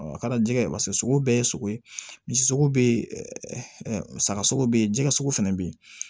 A ka di jɛgɛ ye paseke sogo bɛɛ ye sogo ye misi sogo be yen musaka sogo be yen jɛgɛ fɛnɛ be ye